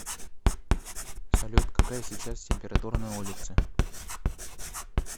салют какая сейчас температура на улице